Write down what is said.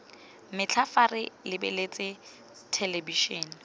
metlha fa re lebeletse thelebišene